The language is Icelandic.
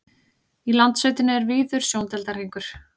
í landsveitinni er víður sjóndeildarhringur